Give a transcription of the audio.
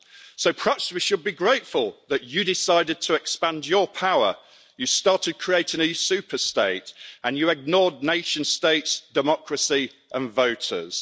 So perhaps we should be grateful that you decided to expand your power, you started creating an EU super state and you ignored nation states' democracy and voters.